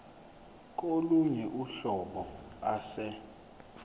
kolunye uhlobo ase